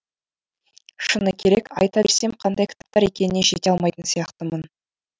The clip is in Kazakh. шыны керек айта берсем қандай кітаптар екеніне жете алмайтын сияқтымын